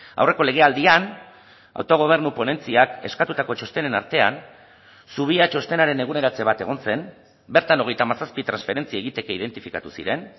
aurreko legealdian autogobernu ponentziak eskatutako txostenen artean zubia txostenaren eguneratze bat egon zen bertan hogeita hamazazpi transferentzia egiteke identifikatu ziren